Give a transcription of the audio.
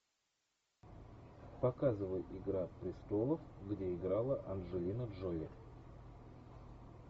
показывай игра престолов где играла анджелина джоли